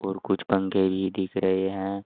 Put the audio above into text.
और कुछ पंखे भी दिख रहे हैं।